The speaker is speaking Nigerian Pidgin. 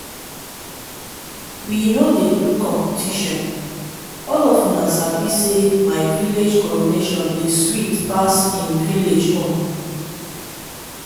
we no dey do competition all of una sabi say my village coronation dey sweet pass im village own